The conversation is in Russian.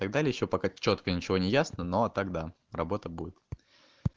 так далее ещё пока чётко ничего не ясно но так да работа будет